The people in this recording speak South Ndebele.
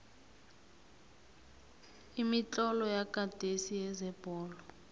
imitlolo yakade yezebholo